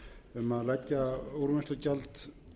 um að leggja úrvinnslugjald